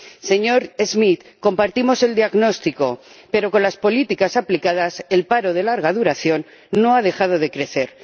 Señor Schmit, compartimos el diagnóstico, pero con las políticas aplicadas, el paro de larga duración no ha dejado de crecer.